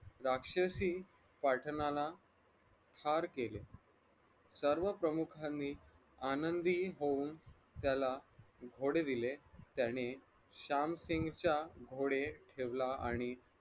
राक्षसी पाठनाला हार केले सर्व प्रमुखांनी आनंदी होऊन त्याला घोडे दिले त्याने श्यामसिंगच्या घोडे ठेवला आणि